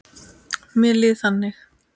Mér líður þannig.